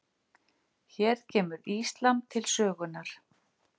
Hér kemur íslam til sögunnar.